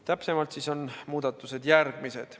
Täpsemalt on muudatused järgmised.